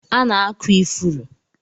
A na-akụ ifuru